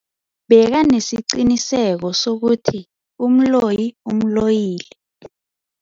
Bekanesiqiniseko sokuthi umloyi umloyile.